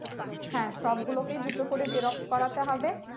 হ্যাঁ সব গুলোকেই দুটো করে xerox করাতে হবে